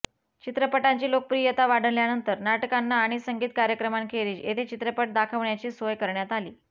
चित्रपटांची लोकप्रियता वाढल्यानंतर नाटकांना आणि संगीत कार्यक्रमांखेरीज येथे चित्रपट दाखवण्याची सोय करण्यात आली